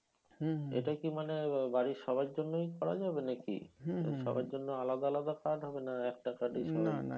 এটা কি মানে বাড়ির সবার জন্যই করা যাবে নাকি? সবার জন্য আলাদা আলাদা card হবে না? একটা card এই সবাই